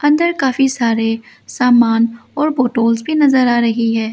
अंदर काफी सारे सामान और बॉटल्स भी नजर आ रही है।